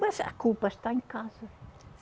Mas a culpa está em casa.